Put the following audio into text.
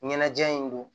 Ɲɛnajɛ in don